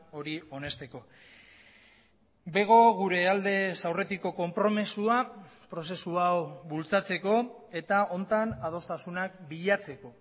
hori onesteko bego gure aldez aurretiko konpromisoa prozesu hau bultzatzeko eta honetan adostasunak bilatzeko